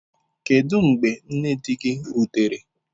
Kedu mgbe nne di gị rutere?